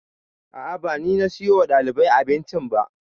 A'a ba ni na siyo wa ɗaliban abinci ba